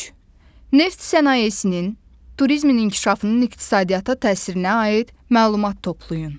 Üç: Neft sənayesinin, turizmin inkişafının iqtisadiyyata təsirinə aid məlumat toplayın.